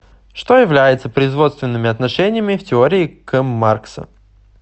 что является производственными отношениями в теории к маркса